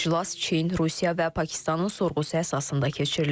İclas Çin, Rusiya və Pakistanın sorğusu əsasında keçirilib.